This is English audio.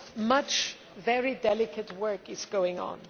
Much very delicate work is going on.